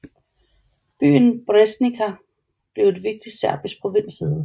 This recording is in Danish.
Byen Breznica blev et vigtigt serbisk provinssæde